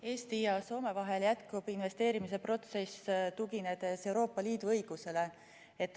Eesti ja Soome vahel jätkub investeerimise protsess, tuginedes Euroopa Liidu õigusele.